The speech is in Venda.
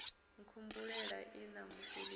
nkhumbulela ii ṋamusi ni ḓo